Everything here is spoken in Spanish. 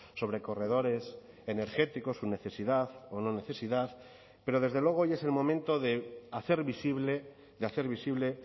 sobre corredores energéticos su necesidad o no necesidad pero desde luego hoy es el momento de hacer visible de hacer visible